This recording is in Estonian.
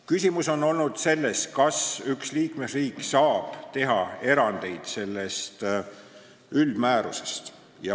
Küsimus on olnud selles, kas üks liikmesriik saab teha erandeid sellest üldmäärusest.